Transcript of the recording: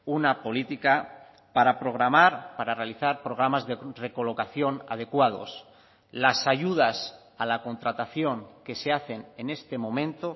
una política para programar para realizar programas de recolocación adecuados las ayudas a la contratación que se hacen en este momento